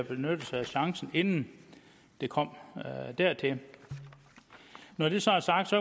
benyttet sig af chancen inden det kom dertil når det så er sagt